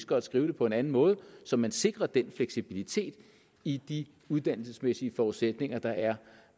godt skrive det på en anden måde så man sikrer den fleksibilitet i de uddannelsesmæssige forudsætninger der er